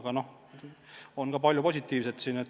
Siin on palju positiivset.